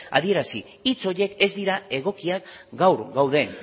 adierazi hitz horiek ez dira egokiak gaur gauden